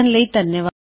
ਦੇਖਣ ਲਈ ਧੰਨਵਾਦ